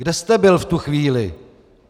Kde jste byl v tu chvíli?